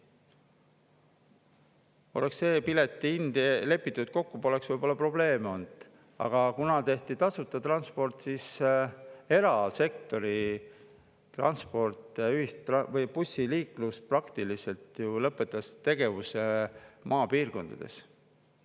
Kui oleks lepitud see piletihind kokku, poleks võib-olla probleeme olnud, aga kuna tehti tasuta transport, siis erasektori bussiliiklus praktiliselt lõpetas tegevuse maapiirkondades.